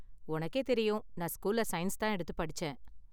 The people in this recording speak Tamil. உனக்கே தெரியும், நான் ஸ்கூல்ல சயின்ஸ் தான் எடுத்து படிச்சேன்.